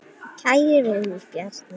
Kæri vinur, Bjarni.